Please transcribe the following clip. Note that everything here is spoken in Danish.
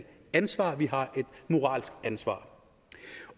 ansvar at vi har et moralsk ansvar